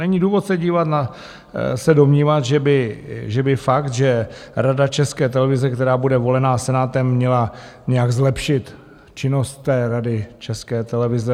Není důvod se domnívat, že by fakt, že Rada České televize, která bude volena Senátem, měla nějak zlepšit činnost té Rady České televize.